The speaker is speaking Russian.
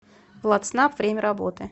владснаб время работы